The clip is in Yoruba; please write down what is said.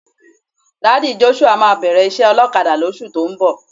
Daddy Joshua máa bẹ̀rẹ̀ iṣẹ́ ọlọ́kadà lóṣù tó ń bọ̀.